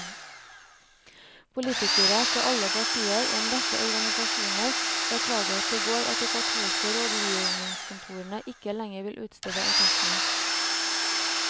Politikere fra alle partier og en rekke organisasjoner beklaget i går at de katolske rådgivningskontorene ikke lenger vil utstede attestene.